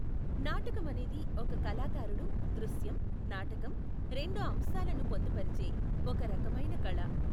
నాటకం అనేది ఒక కళాకారుడు దృశ్యం, నాటకం, రెండు అంశాలను పొందుపరిచే ఒక రకమైన కళ.